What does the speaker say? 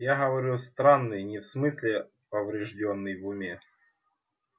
я говорю странный не в смысле повреждённый в уме